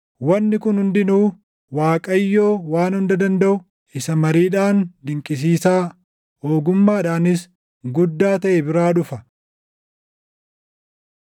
Wanni kun hundinuu Waaqayyoo Waan Hunda Dandaʼu, isa mariidhaan dinqisiisaa, ogummaadhaanis guddaa taʼe biraa dhufa.